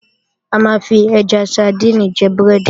A máa ń fi ẹja sadíìnì jẹ búrẹ́dì